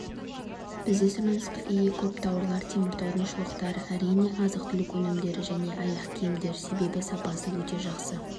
бізде сұранысқа ие көп тауарлар теміртаудың шұлықтары әрине азық-түлік өнімдері және аяқ-киімдер себебі сапасы өте жақсы